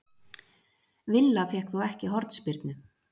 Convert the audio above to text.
Villa fékk þó ekki hornspyrnu